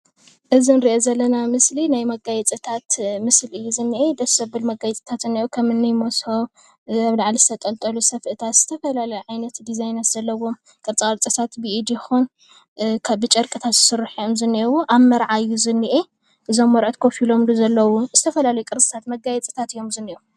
እዚ እንሪኣ ዘለና ምስሊ ናይ መጋየፅታት ምስሊ እዩ ዝኒሄ ።ድስ ዘብል መጋየፅታት እዩ ዝኒሄ ከምኒ መቦብ፣ አብ ላዕሊ ዝተጠልጠሉ ሰፈእታት፣ ዝተፈላለዩ ዓይነታት ዲዛይን ዘለዎም ቅርፃ ቅርፅታት ብኢድ ይኩን ብጨርቅታት ዝስርሑ እዩም እኒው አብ መርዓ እዩ ዝኒሄ እዞም መርዑት ከፍ ኢሎም ብዘለውዎ ዝተፈላለዩ መጋየፅታት እዩም ዝኒህው፡፡